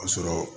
Ka sɔrɔ